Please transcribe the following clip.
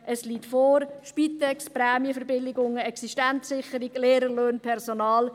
Es liegt vor: Spitex, Prämienverbilligungen, Existenzsicherung, Lehrerlöhne, Personal.